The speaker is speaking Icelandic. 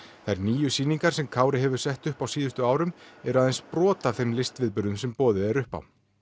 þær níu sýningar sem Kári hefur sett upp á síðustu árum eru aðeins brot af þeim listviðburðum sem boðið er upp á